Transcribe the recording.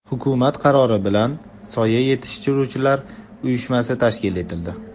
Hukumat qarori bilan Soya yetishtiruvchilar uyushmasi tashkil etildi.